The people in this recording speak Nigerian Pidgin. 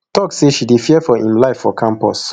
tok say she dey fear for im life for campus